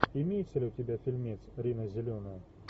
имеется ли у тебя фильмец рина зеленая